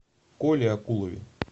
коле акулове